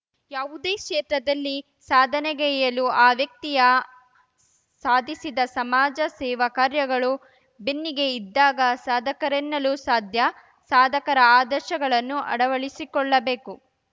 ಯಾವುದೇ ಕ್ಷೇತ್ರದಲ್ಲಿ ಸಾಧನೆಗೈಯಲು ಆ ವ್ಯಕ್ತಿಯ ಸಾಧಿಸಿದ ಸಮಾಜ ಸೇವಾ ಕಾರ್ಯಗಳು ಬೆನ್ನಿಗೆ ಇದ್ದಾಗ ಸಾಧಕರೆನ್ನಲು ಸಾಧ್ಯ ಸಾಧಕರ ಆದರ್ಶಗಳನ್ನು ಅಳವಡಿಸಿಕೊಳ್ಳಬೇಕು